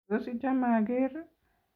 Tos, ichame ageer?